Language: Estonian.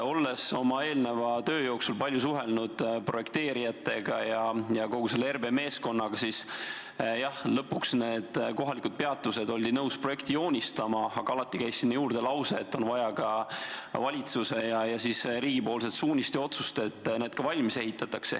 Olles eelneva töö jooksul palju suhelnud projekteerijatega ja kogu selle RB meeskonnaga, siis jah, lõpuks oldi nõus need kohalikud peatused projekti joonistama, aga alati käis sinna juurde lause, et vaja on ka valitsuse ja riigi suunist ning otsust, et need ka valmis ehitataks.